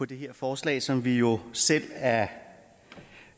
det her forslag som vi jo selv er